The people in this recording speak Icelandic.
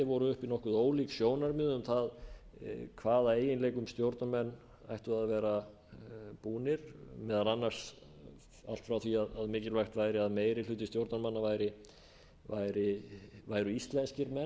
voru uppi nokkuð ólík sjónarmið um það hvaða eiginleikum stjórnarmenn ættu að vera búnir meðal annars allt frá því að mikilvæg væri að meiri hluti stjórnarmanna væru íslenskir menn